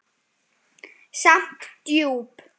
Samt djúp.